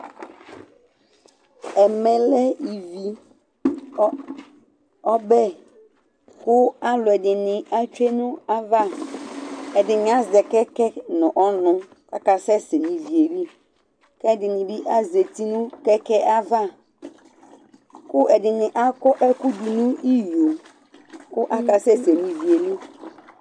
ɛmɛ lɛ, ɔbɛ, kʊ alʊɛdɩnɩ atsue nʊ ayava, ɛdɩnɩ azɛ utuvegele nʊ ɔnʊ kʊ aka sɛ sɛ nʊ ivi yɛ li, kʊ ɛdɩnɩ bɩ azati nʊ utuvegele yɛ ava, kʊ ɛdɩnɩ akɔ ɛkʊ dʊ nʊ iyo, kʊ aka sɛ sɛ nʊ ivi yɛ li